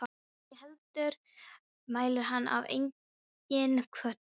Né heldur mælir hann af eigin hvötum.